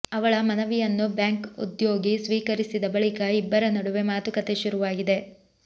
ಅವಳ ಮನವಿಯನ್ನು ಬ್ಯಾಂಕ್ ಉದ್ಯೋಗಿ ಸ್ವೀಕರಿಸಿದ ಬಳಿಕ ಇಬ್ಬರ ನಡುವೆ ಮಾತುಕತೆ ಶುರುವಾಗಿದೆ